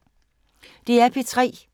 DR P3